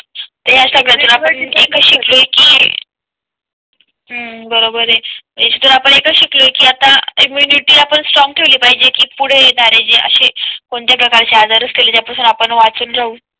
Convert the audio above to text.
त्या सगळ्या आपण एक शिकलोय कि हम्म बरोबर आहे याच्यातून आपण एकच शिकलोय कि आता इम्युनिटी आपण स्ट्रॉंग ठेवली पाहिजे की पुढे येणारे जे असे कोणत्या प्रकारचे आजार असल्यास आपण वाचून जाऊ.